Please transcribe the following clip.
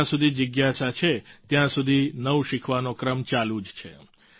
જ્યાં સુધી જિજ્ઞાસા છે ત્યાં સુધી નવું શીખવાનો ક્રમ ચાલુ જ છે